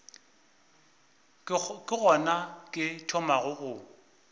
ke gona ke thomago go